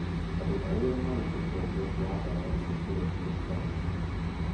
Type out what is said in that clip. Andũ arĩa marĩ ũkombo wa ndawa cia kũrebia kaingĩ